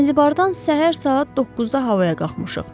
Zənzibardan səhər saat 9-da havaya qalxmışıq.